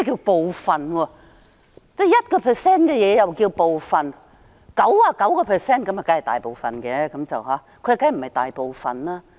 1% 也算是部分 ，99% 就當然是大部分了，他說當然不是鑿開大部分。